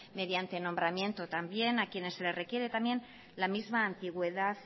mediante nombramiento también a quienes se les requiere también la misma antigüedad